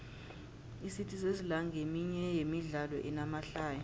icity sesla nqeminye yemidlalo enamahlaya